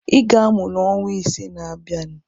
Ị ga-amụ n'ọnwa ise na-abịanụ.